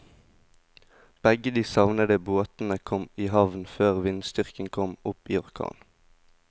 Begge de savnede båtene kom i havn før vindstyrken kom opp i orkan.